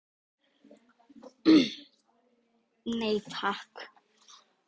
Nei takk.